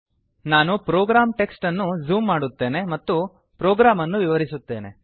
ನಾನು program text ಅನ್ನು zoom ಮಾಡುತ್ತೇನೆ ಮತ್ತು ಪ್ರೋಗ್ರಾಮ್ ಅನ್ನು ವಿವರಿಸುತ್ತೇನೆ